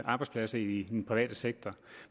arbejdspladser i den private sektor